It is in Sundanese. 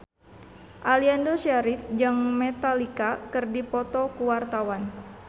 Aliando Syarif jeung Metallica keur dipoto ku wartawan